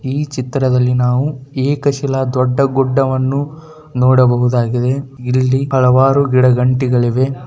ಈ ಚಿತ್ರದಲ್ಲಿ ನಾವು ಏಕಸಹಾಳ ದೊಡ್ಡ ಗುಡ್ಡ ವನ್ನು ಕಾಣುತ್ತೇವೆ ಇದರಲ್ಲಿ ಹಲವಾರು ಗಿಡ ಗಂಟೆಗಳು ಇವೆ